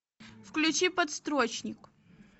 включи подстрочник